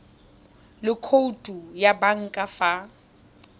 le khoutu ya banka fa